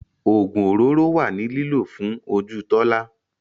Ogun òróró wa ni lílò fún ojú Tola.